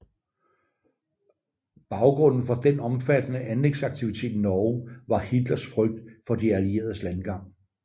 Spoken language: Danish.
Baggrunden for den omfattende anlægsaktivitet i Norge var Hitlers frygt for De Allieredes landgang